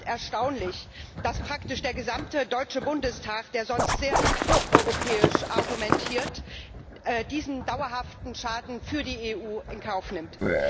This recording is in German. Es ist erstaunlich, dass praktisch der gesamte Deutsche Bundestag, der sonst sehr pro europäisch argumentiert, diesen dauerhaften Schaden für die EU in Kauf nimmt.